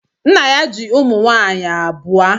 Nna ya ji ụmụ nwaanyị abụọ.